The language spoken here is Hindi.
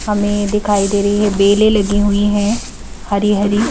हमें दिखाई दे रही है बेले लगी हुई हैं हरी हरी--